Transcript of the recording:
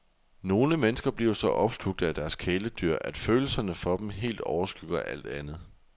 Nogle mennesker bliver så opslugte af deres kæledyr, at følelserne for dem helt overskygger alt andet.